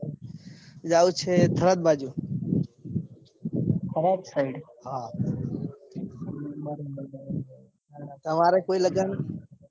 જાઉં છે. થરાદ બાજુ હા બરાબર બરાબર તમારે કોઈ લગન